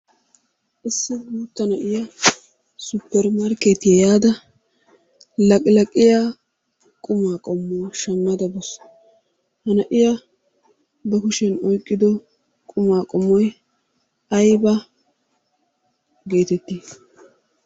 Issi guutta na'iya suppermarkkeetiya yaada laqilaqiya qumaa qommuwa shammada bawusu. He na'i3ba kushiyan oyqqido qumaa qommoy ayba geetettii?